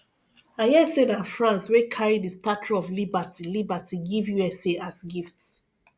i hear say na france wey carry the statue of liberty liberty give usa as gift